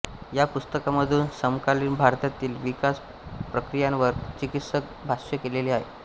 या पुस्तकामधून समकालीन भारतातील विकास प्रक्रियांवर चिकित्सक भाष्य केलेले आहे